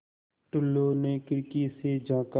टुल्लु ने खिड़की से झाँका